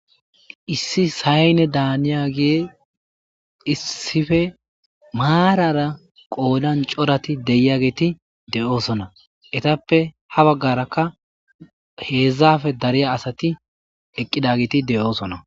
Issi sayne daaniyagey issife maarara qoodan corati de7iyageti de7oosona. Etappe ha baggarakka heedzdzaafe dariya asati eqqidageti de7oosona.